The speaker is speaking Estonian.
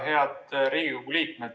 Head Riigikogu liikmed!